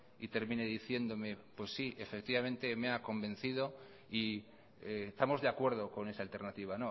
y termine diciéndome pues sí efectivamente me ha convencido y estamos de acuerdo con esa alternativa